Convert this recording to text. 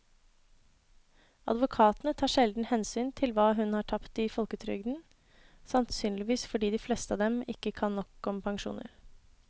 Advokatene tar sjelden hensyn til hva hun har tapt i folketrygden, sannsynligvis fordi de fleste av dem ikke kan nok om pensjoner.